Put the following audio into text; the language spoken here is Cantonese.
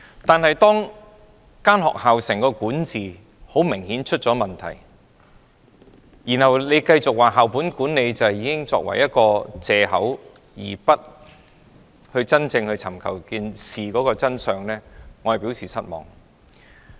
但是，當整間學校的管治明顯出現問題，當局卻繼續用"校本管理"作為藉口而不尋求事件的真相，我便對此表示失望。